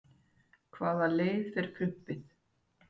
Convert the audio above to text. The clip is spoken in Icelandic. hvaða leið fer prumpið